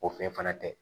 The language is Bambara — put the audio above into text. O fɛn fana tɛ